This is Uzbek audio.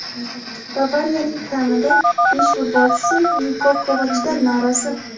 "Bavariya"ning kamida besh futbolchisi Niko Kovachdan norozi.